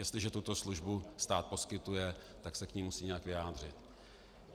Jestliže tuto službu stát poskytuje, tak se k ní musí nějak vyjádřit.